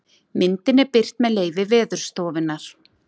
myndin er birt með leyfi veðurstofunnar